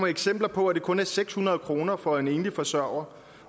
eksempler på at det kun er seks hundrede kroner for en enlig forsørger